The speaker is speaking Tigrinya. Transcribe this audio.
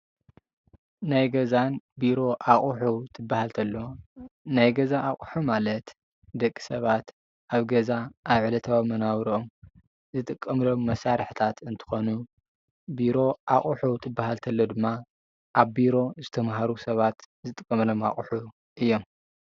ናይ ገዛን ቢሮ ኣቁሑ እንትብሃል ተሎ ናይ ገዛ ኣቁሑ ማለት ደቂ ሰባት ኣብ ገዛ ኣብ ዕለታዊ መነባብሮኦም ዝጥቀመሎም መሳርሕታት እንትኮኑ ቢሮ ኣቁሑ ትብሃል ተሎ ድማ ኣብ ቢሮ ዝተማህሩ ስባት ዝጥቀምሎም ኣቁሑ ማለት እዮም ፡፡